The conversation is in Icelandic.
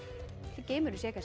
geimurinn sé